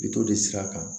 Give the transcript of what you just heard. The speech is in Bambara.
Bito de sira kan